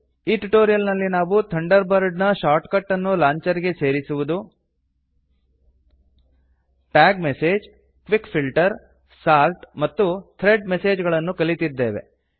ಈ ಟ್ಯುಟೋರಿಯಲ್ ನಲ್ಲಿ ನಾವು ಥಂಡರ್ ಬರ್ಡ್ ನ ಶಾರ್ಟ್ ಕಟ್ ಅನ್ನು ಲಾಂಚರ್ ಗೆ ಸೇರಿಸುವುದು tag message quick filter sort ಮತ್ತು ಥ್ರೆಡ್ ಮೆಸೇಜ್ ಗಳನ್ನು ಕಲಿತಿದ್ದೇವೆ